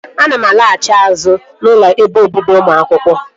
Ana m alaghachi azụ n'ụlọ ebe obibi ụmụ akwụkwọ